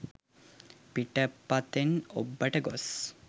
පිටපතෙන් ඔබ්බට ගොස්